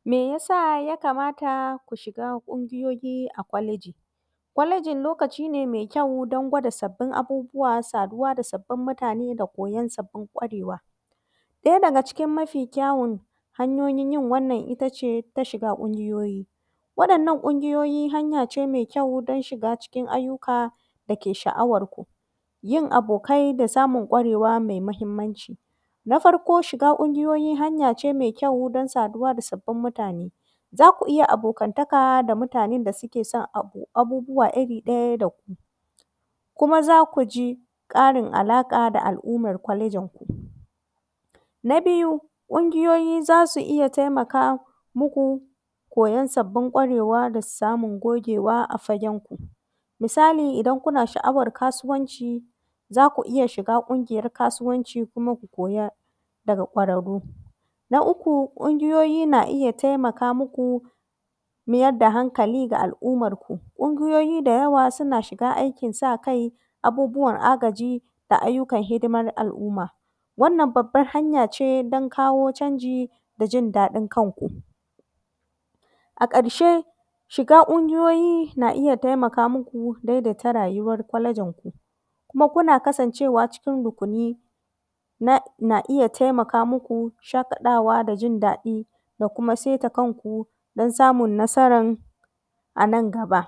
Me ya sa yakamata ku shiga ƙungiyoyi a kwaleji? kwaleji lokaci ne mai kyau dan gada sabbin abubuwa, saduwa da sabbi mutane da koyan sabbin kwarewa. Ɗaya daga cikin ma fi kyawon hanyoyin yin wannan ita ce ta shiga ƙungiyoyi. Waɗannan ƙungiyoyi hanya ce mai kyau don shiga ayyuka da ke sha’awarku, jin abokai da samun ƙungiyoyi mai mahimmanci. na farko shiga ƙungiyoyi hanya ce me kyau, don saduwa da sabbi mutane, za ku iya abokantaka da mutanen da suke san abubuwa iri ɗa ya da ku Kuma za ku ji ƙarin alaƙa da al’umman kwalejinku. Na biyu ƙungiyoyi za su iya za su iya taimaka muku, koyan sabbin kwarewa da samun gogewa a fagenku, misali idan kuna sha’awar kasuwanci, za ku iya dhiga ƙungiyoyar kasuwanci, kuma ku koya daga kwararru. Na uku ƙungiyoyi na iya taimaka mu ku, meyar da hankali ga al’ummarku, ƙungiyoyi da yawa suna shiga aikin sa kai, abubuwan agaji da ayyukan hidiman al’umma. Wannan babban hanya ce dan kawo canji da jin daɗin kanku. A ƙarshe shiga ƙungiyoyi na iya taimaka maku daidaita rayuwar kwalejinku, kuma kuna kasancewa cikin rukuni, na na iya taimaka maku shaƙaɗawa da jin daɗi da kuma saita kanku, dan samun nasaran a nan gaba.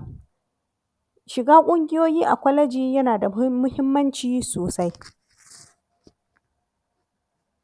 shiga ƙungiyoyi a kwaleji yana da mu muhimmanci sosai.